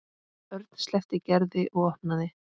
Örn sleppti Gerði og opnaði.